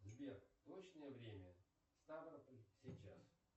сбер точное время ставрополь сейчас